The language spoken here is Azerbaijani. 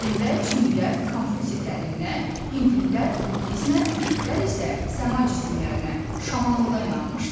Qədimdə çinlilər Konfutsi təliminə, hindlilər buddizmə, türklər isə səma cisimlərinə, şamanlığa inanmışlar.